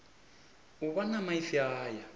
u vha na maipfi aya